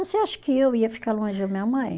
Você acha que eu ia ficar longe da minha mãe?